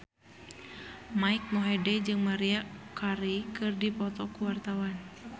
Mike Mohede jeung Maria Carey keur dipoto ku wartawan